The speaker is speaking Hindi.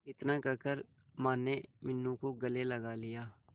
इतना कहकर माने मीनू को गले लगा लिया